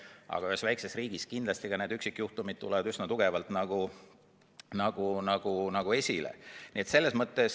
Aga ühes väikeses riigis kindlasti ka üksikjuhtumid tulevad üsna tugevalt esile.